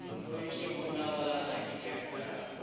ওই কি পুনাওয়ালা না কি একটা,